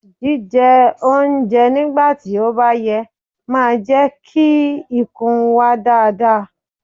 Jí jẹ oúnjẹ nígbà tí ó bá yẹ máa jẹ́ kí ikùn wà dáadáa.